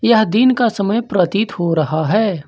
यह दिन का समय प्रतीत हो रहा है।